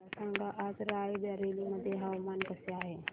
मला सांगा आज राय बरेली मध्ये हवामान कसे आहे